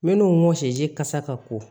Minnu mɔ sɛzi kasa ka ko